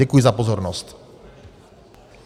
Děkuji za pozornost.